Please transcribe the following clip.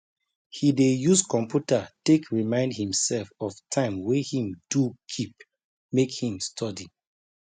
he dey use computer take remind himself of time wey him do keep make him study